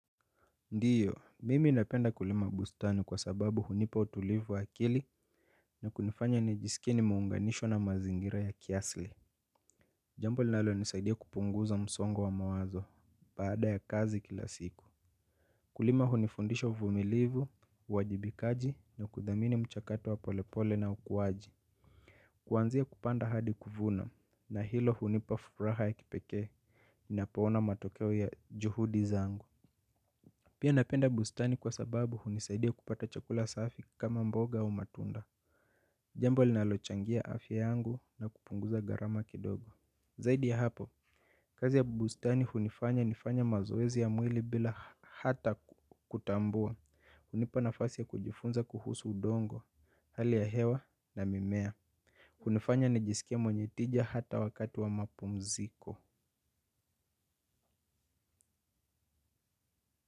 Ndiyo, mimi ninapenda kulima bustani kwa sababu hunipa utulivu wa akili na kunifanya ni jisikie nimeunganishwa na mazingira ya kiasli. Jambo linalo nisaidia kupunguza msongo wa mawazo baada ya kazi kila siku. Kulima hunifundisha uvumilivu, uwajibikaji na kudhamini mchakato wa polepole na ukuwaji. Kuanzia kupanda hadi kuvuna na hilo hunipa furaha ya kipeke nina poona matokeo ya juhudi zangu. Pia napenda bustani kwa sababu hunisaidia kupata chakula safi kama mboga au matunda. Jambo linalochangia afya yangu na kupunguza gharama kidogo. Zaidi ya hapo kazi ya bustani hunifanya nifanya mazoezi ya mwili bila hata kutambua. Hunipa nafasi ya kujifunza kuhusu udongo, hali ya hewa na mimea. Hunifanya nijisikie mwenye tija hata wakati wa mapumziko.